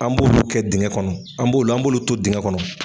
An b'olu kɛ dingɛ kɔnɔ, an b'o an bolu to dingɛ kɔnɔ.